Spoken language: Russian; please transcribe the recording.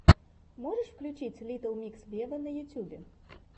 можешь включить литтл микс вево на ютубе